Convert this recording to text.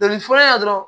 Dɔnkili fɔlɔ la dɔrɔn